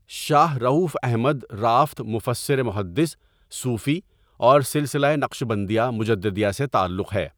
شاہ رؤف احمدرأفت مفسر محدث صوفی اور سلسلہ نقشبندیہ مجددیہ سے تعلق ہے.